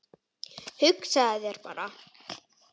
Hugsaðu þér bara